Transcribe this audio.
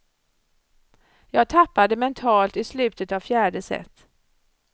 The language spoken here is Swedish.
Jag tappade mentalt i slutet av fjärde set.